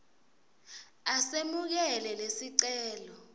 a semukele lesicelo